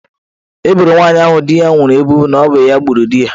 Eboro nwanyị ahụ di ya nwụrụ ebubo na o gburu di ya.